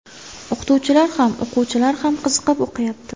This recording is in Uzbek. O‘qituvchilar ham, o‘quvchilar ham qiziqib o‘qiyapti.